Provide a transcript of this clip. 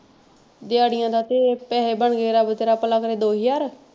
ਦਿਹਾੜਿਆਂ ਦਾ ਤੇ ਪੈਸੇ ਬਣਗੇ ਰੱਬ ਤੇਰਾ ਭਲਾ ਕਰੇ ਦੋ ਹਜ਼ਾਰ,